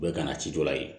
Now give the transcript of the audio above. U bɛ ka na ci dɔ la yen